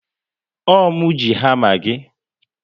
Ọ mụ ji hama gị